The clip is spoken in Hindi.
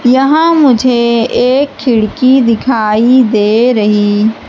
यहां मुझे एक खिड़की दिखाई दे रही--